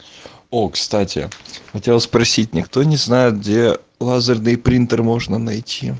о кстати хотел спросить никто не знает где лазерный принтер можно найти